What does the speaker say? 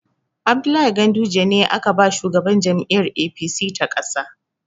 Abdullahi Ganduje ne aka ba shugaban jam'iyyar APC ta ƙasa.